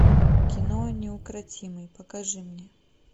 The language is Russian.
кино неукротимый покажи мне